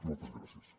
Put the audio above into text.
moltes gràcies